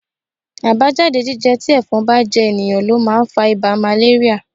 Àbájáde jíjẹ tí ẹ̀fọn bá jẹ ènìyàn ló máa ń fa ibà màléríà.